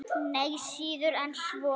Nei, síður en svo.